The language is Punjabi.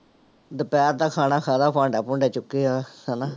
ਦੁਪਿਹਰ ਦਾ ਖਾਣਾ ਖਾਇਆ ਭਾਂਡਾ ਭੂੰਡਾ ਚੁੱਕੇ ਆ, ਹਨਾ।